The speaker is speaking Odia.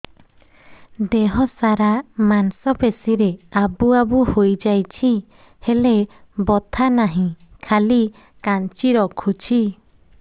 ଦେହ ସାରା ମାଂସ ପେଷି ରେ ଆବୁ ଆବୁ ହୋଇଯାଇଛି ହେଲେ ବଥା ନାହିଁ ଖାଲି କାଞ୍ଚି ରଖୁଛି